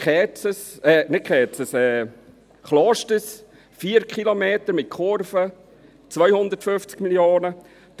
Die Umfahrung Klosters, 4 Kilometer mit Kurve, 250 Mio. Franken.